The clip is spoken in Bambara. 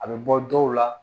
A bɛ bɔ dɔw la